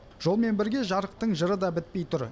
жолмен бірге жарықтың жыры да бітпей тұр